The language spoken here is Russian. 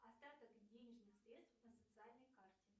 остаток денежных средств на социальной карте